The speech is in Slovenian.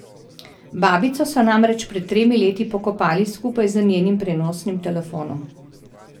Babico so namreč pred tremi leti pokopali skupaj z njenim prenosnim telefonom.